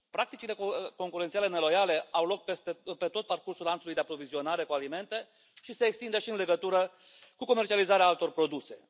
Practicile concurențiale neloiale au loc pe tot parcursul lanțului de aprovizionare cu alimente și se extind și în legătura cu comercializarea altor produse.